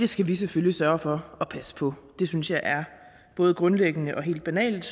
skal vi selvfølgelig sørge for at passe på det synes jeg er både grundlæggende og helt banalt